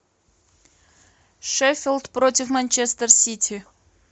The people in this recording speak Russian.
шеффилд против манчестер сити